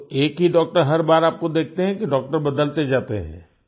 तो एक ही डॉक्टर हर बार आपको देखते हैं कि डॉक्टर बदलते जाते है